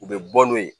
U bɛ bɔ n'o ye